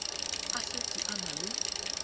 a setse a na le